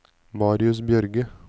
Marius Bjørge